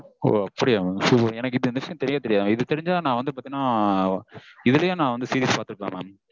ஓ அப்படியா mam super எனக்கு இந்த விஷயம் தெரியவே தெரியாது. இது தெரிஞ்சா நா வந்து பாத்தீனா இதுலையே நா வந்து series பாத்திருப்பேன் mam